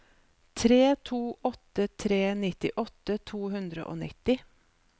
tre to åtte tre nittiåtte to hundre og nitti